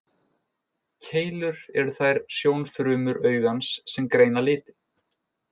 Keilur eru þær sjónfrumur augans sem greina liti.